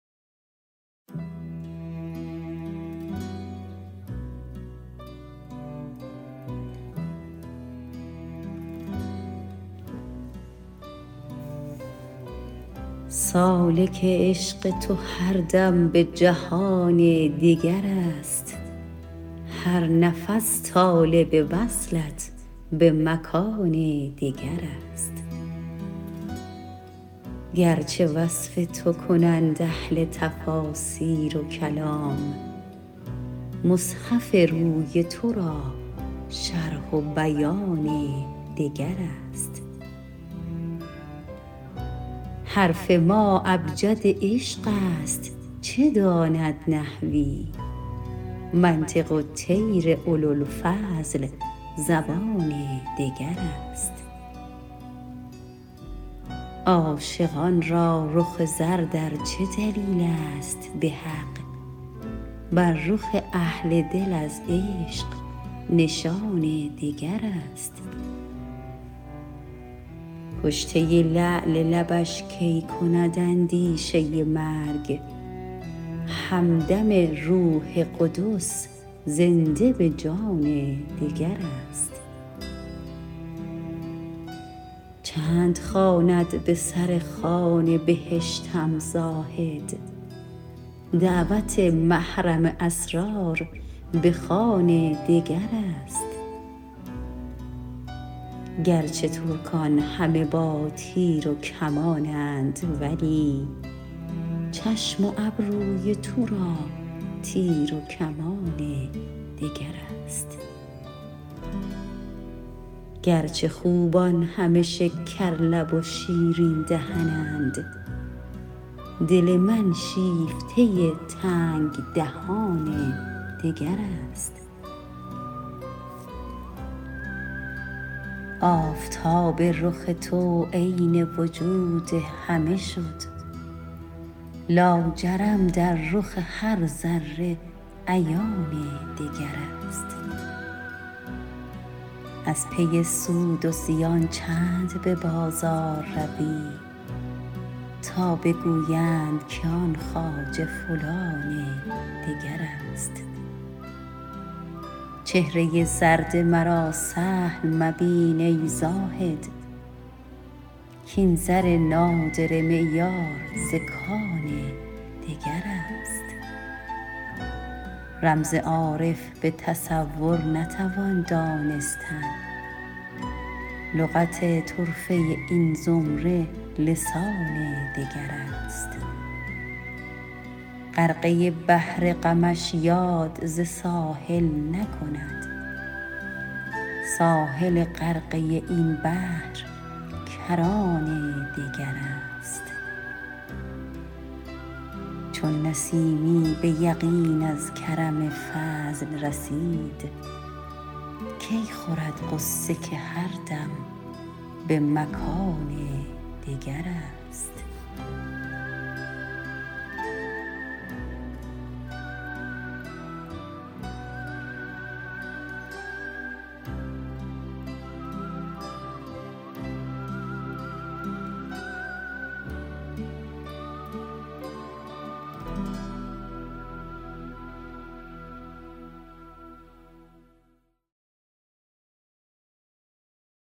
سالک عشق تو هر دم به جهان دگر است هر نفس طالب وصلت به مکان دگر است گرچه وصف تو کنند اهل تفاسیر و کلام مصحف روی تو را شرح و بیان دگر است حرف ما ابجد عشق است چه داند نحوی منطق الطیر اولوالفضل زبان دگر است عاشقان را رخ زرد ار چه دلیل است به حق بر رخ اهل دل از عشق نشان دگر است کشته لعل لبش کی کند اندیشه مرگ همدم روح قدس زنده به جان دگر است چند خواند به سر خوان بهشتم زاهد دعوت محرم اسرار به خوان دگر است گرچه ترکان همه با تیر و کمانند ولی چشم و ابروی تو را تیر و کمان دگر است گرچه خوبان همه شکر لب و شیرین دهنند دل من شیفته تنگ دهان دگر است آفتاب رخ تو عین وجود همه شد لاجرم در رخ هر ذره عیان دگر است از پی سود و زیان چند به بازار روی تا بگویند که آن خواجه فلان دگر است چهره زرد مرا سهل مبین ای زاهد کاین زر نادره معیار ز کان دگر است رمز عارف به تصور نتوان دانستن لغت طرفه این زمره لسان دگر است غرقه بحر غمش یاد ز ساحل نکند ساحل غرقه این بحر کران دگر است چون نسیمی به یقین از کرم فضل رسید کی خورد غصه که هردم به مکان دگر است